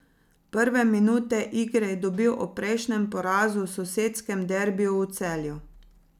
Prve minute igre je dobil ob prejšnjem porazu v sosedskem derbiju v Celju.